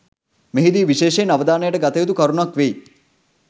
මෙහිදී විශේෂයෙන් අවධානයට ගත යුතු කරුණක් වෙයි